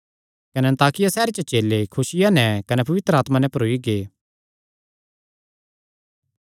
कने अन्ताकिया सैहरे च चेले खुसिया नैं कने पवित्र आत्मा नैं भरोई गै